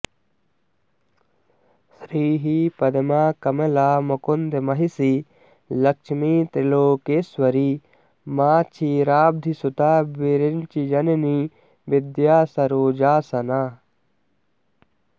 श्रीः पद्मा कमला मुकुन्दमहिषी लक्ष्मी त्रिलोकेश्वरी मा क्षीराब्धिसुता विरिञ्चिजननी विद्या सरोजासना